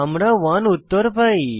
আমরা 1 উত্তর পাই